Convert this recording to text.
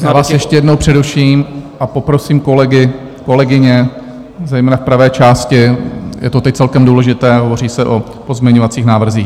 Já vás ještě jednou přeruším a poprosím kolegy, kolegyně, zejména v pravé části, je to teď celkem důležité, hovoří se o pozměňovacích návrzích.